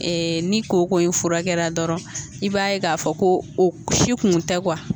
Ee ni kooko in furakɛra dɔrɔn i b'a ye k'a fɔ ko o si kun tɛ kuwa